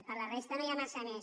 per la resta no hi ha massa més